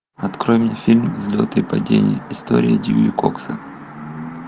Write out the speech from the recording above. открой мне фильм взлеты и падения история дьюи кокса